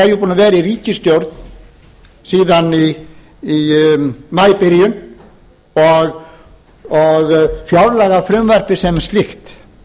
gera okkur grein fyrir því að samfylkingin er búin að vera í ríkisstjórn síðan í maíbyrjun og fjárlagafrumvarpið sem slíkt